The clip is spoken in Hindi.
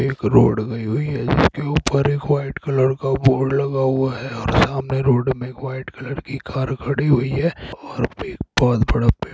एक रोड गयी हुई है जिसके ऊपर एक व्‍हाइट कलर का बोर्ड लगा हुआ है और सामने रोड में एक व्‍हाइट कलर की कार खड़ी हुई है और एक बहुत बड़ा पेड़---